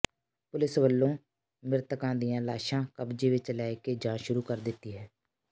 ਪੁਲਸ ਵੱਲੋਂ ਮਿ੍ਰਤਕਾਂ ਦੀ ਲਾਸ਼ਾਂ ਕਬਜ਼ੇ ਵਿੱਚ ਲੈ ਕੇ ਜਾਂਚ ਸ਼ੁਰੂ ਕਰ ਦਿੱਤੀ ਹੈ